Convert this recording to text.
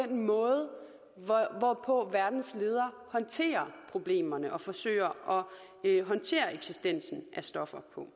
den måde hvorpå verdens ledere håndterer problemerne og forsøger at håndtere eksistensen af stoffer på